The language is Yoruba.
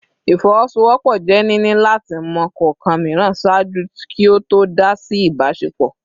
Ifowosowopo je nini lati mọ kọọkan miiran ṣaaju ki o to dá si a ibasepo